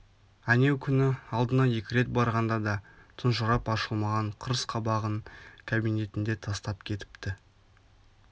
әнеукүні алдына екі рет барғанда да тұнжырап ашылмаған қырс қабағын кабинетінде тастап кетіпті